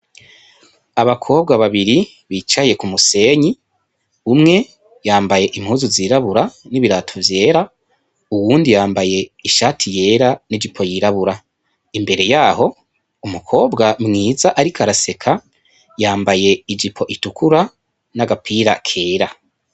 Abakobwa babiri bicaye ku musenyi, umwe yambaye impuzu zirabura n' ibirato vyera, uwundi yambaye ishati yera n' ijipo yirabura imbere yaho umukobwa mwiza ariko araseka yambaye ijipo itukura n' agapira kera.